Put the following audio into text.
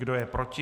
Kdo je proti?